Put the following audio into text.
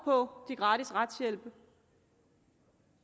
på gratis retshjælp